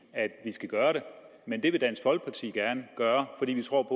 at vi skal gøre det men det vil dansk folkeparti gerne gøre fordi vi tror